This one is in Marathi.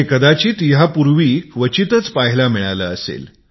कदाचित यापूर्वी मिळालेही नसेल